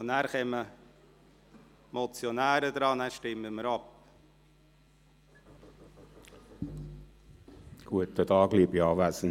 Danach kommen die Motionäre an die Reihe, und dann stimmen wir ab.